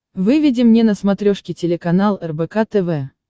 выведи мне на смотрешке телеканал рбк тв